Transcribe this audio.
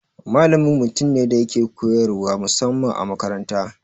Malami mutum ne da yake koyarwa musamman a makaranta.